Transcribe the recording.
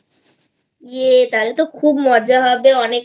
yayতাহলে তো খুব মজা হবে অনেক